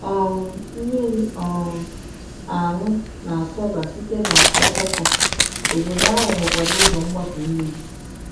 um Mmiri um aṅụ na-asọba site n’ọkpọkọ, obodo ahụ nwekwara ụzọ mgbapu mmiri.